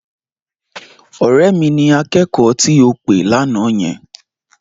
Ọ̀rẹ́ mi ni akẹ́kọ̀ọ́ tí ò pè lánàá yẹn.